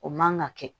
O man ka kɛ